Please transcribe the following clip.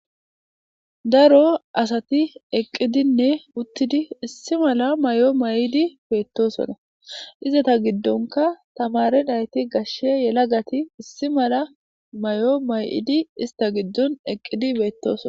Daro asati eqqidinne uttidi issi mala may'o may'idi beettosona izata giddonka tamarin ayti gashshe yela gati issi mala may'o ista giddon eqqidi beettosona.